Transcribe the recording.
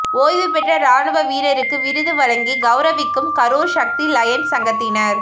ஓய்வுபெற்ற ராணுவ வீரருக்கு விருது வழங்கிக் கெளரவிக்கும் கரூா் சக்தி லயன்ஸ் சங்கத்தினா்